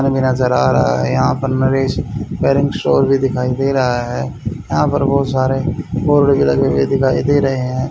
हमे नजर आ रहा है। यहां पर नरेश धरम स्टोर भी दिखाई दे रहा है यहां पर बहुत सारे बोर्ड भी लगे हुए दिखाई दे रहे हैं।